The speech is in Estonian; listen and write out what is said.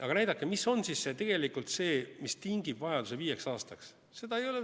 Aga näidake, mis on tegelikult see, mis tingib vajaduse viieks aastaks salastada.